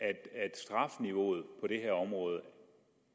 strafniveauet på det her område